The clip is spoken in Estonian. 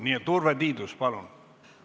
Nii et Urve Tiidus, palun!